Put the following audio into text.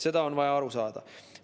Sellest on vaja aru saada.